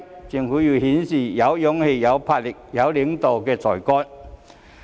政府要顯示有勇氣，有魄力，有領導的才幹。